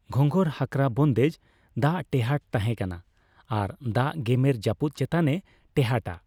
ᱜᱷᱚᱸᱜᱚᱨᱼᱦᱟᱠᱨᱟ ᱵᱚᱱᱫᱮᱡ ᱫᱟᱜ ᱴᱮᱦᱟᱴ ᱛᱟᱦᱮᱸᱠᱟᱱᱟ ᱟᱨ ᱫᱟᱜ ᱜᱮᱢᱮᱨ ᱡᱟᱹᱯᱩᱫ ᱪᱮᱛᱟᱱᱮ ᱴᱮᱦᱟᱴ ᱟ᱾